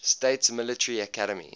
states military academy